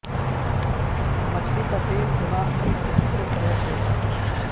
مچھلی کا تیل دماغ کی صحت کو فروغ دیتا ہے